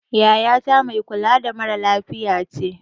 Yaya ta mai kula da mara lafiya ce